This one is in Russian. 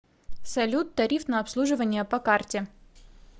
салют тариф на обслуживание по карте